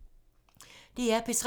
DR P3